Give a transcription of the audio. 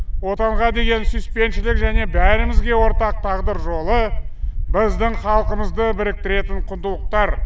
отанға деген сүйіспеншілік және бәрімізге ортақ тағдыр жолы біздің халқымызды біріктіретін құндылықтар